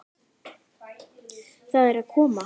Það er að koma!